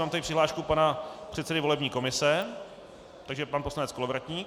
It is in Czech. Mám tady přihlášku pana předsedy volební komise, takže pan poslanec Kolovratník.